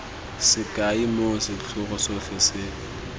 sekai moo setlhogo sotlhe se